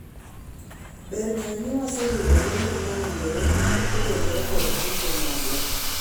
ber ng'eyo ni waseyudo lendo mowinjore kotenore kod kungo magwa